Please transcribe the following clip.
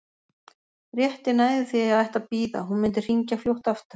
Rétt ég næði því að ég ætti að bíða, hún mundi hringja fljótt aftur.